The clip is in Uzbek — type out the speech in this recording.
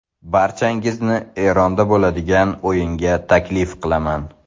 Barchangizni Eronda bo‘ladigan o‘yinga taklif qilaman.